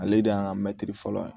Ale de y'an ka mɛtiri fɔlɔ ye